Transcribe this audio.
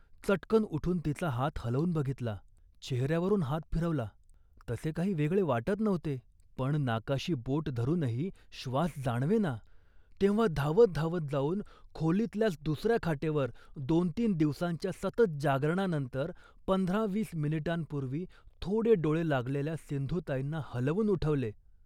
चटकन उठून तिचा हात हलवून बघितला, चेहऱ्यावरून हात फिरवला. तसे काही वेगळे वाटत नव्हते, पण नाकाशी बोट धरूनही श्वास जाणवेना, तेव्हा धावत धावत जाऊन खोलीतल्याच दुसऱ्या खाटेवर दोनतीन दिवसांच्या सतत जागरणानंतर पंधरावीस मिनिटांपूर्वीच थोडे डोळे लागलेल्या सिंधूताईंना हलवून उठवले